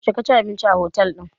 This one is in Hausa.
Yaushe ka ji abinci a otel ɗin?